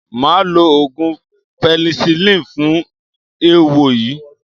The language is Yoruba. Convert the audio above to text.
Màá lo oògùn pẹ́nisilínì fún eéwo yìí.